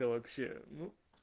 да вообще ну